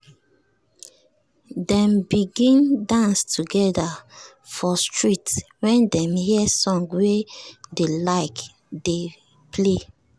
dem begin dance together for street when dem hear song wey dey like dey play.